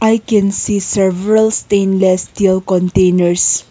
i can see several stainless steel containers.